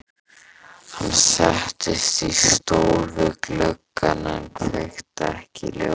Hann settist í stól við gluggann en kveikti ekki ljós.